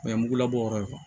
O ye mugulabɔ ye